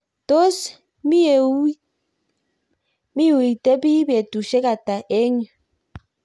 tos miuitebi betusiek ata eng yu ?